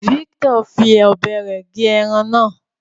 Victor fí ọbẹ rẹ gé ẹran náà